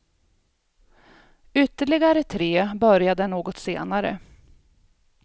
Ytterligare tre börjar där något senare.